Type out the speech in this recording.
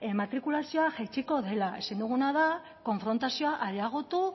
matrikulazioa jaitsiko dela ezin duguna da konfrontazioa areagotu